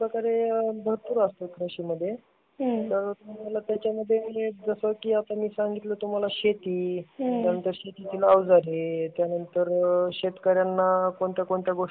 अशा प्रकारे भरपूर असते कृषी मध्ये. तर तुम्हाला त्याचा मध्ये जसा कि मी आता सांगितलं तुम्हाला शेती, त्यानंतर शेतीचे औजारे, त्याचा नंतर शेतकऱ्यांना कोणत्या कोणत्या गोष्टी